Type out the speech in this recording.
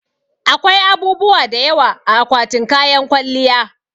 Akwai abubuwa da yawa a akwatin kayan kwalliya